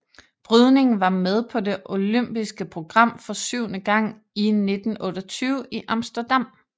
Brydning var med på det olympiske program for syvende gang i 1928 i Amsterdam